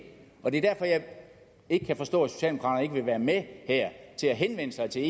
og det er derfor jeg ikke kan forstå at socialdemokraterne ikke vil være med til at henvende sig til